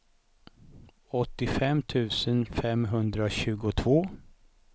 åttiofem tusen femhundratjugotvå